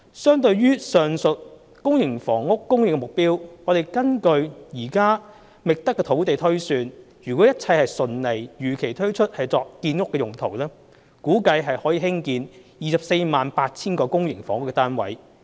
相對於上述公營房屋供應目標，根據現時覓得的土地推算，若一切順利如期推出土地作建屋用途，估計可興建 248,000 個公營房屋單位。